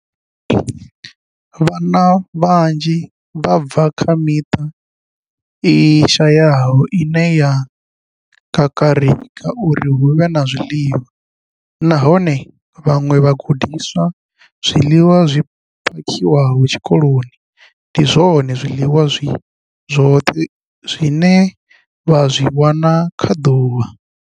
Vhana vhanzhi vha bva kha miṱa i shayaho ine ya kakarika uri hu vhe na zwiḽiwa, nahone kha vhaṅwe vhagudiswa, zwiḽiwa zwi phakhiwaho tshikoloni ndi zwone zwiḽiwa zwi zwoṱhe zwine vha zwi wana kha ḓuvha.